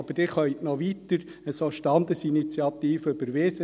Aber Sie können weiter solche Standesinitiativen überweisen.